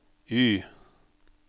Y